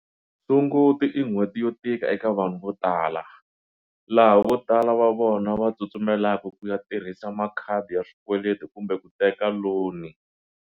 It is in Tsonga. Sunguti i nhweti yo tika eka vanhu vo tala, laha vo tala va vona va tsutsumelaka ku ya tirhisa makhadi ya swikweleti kumbe ku teka loni.